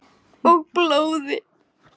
Og blóði.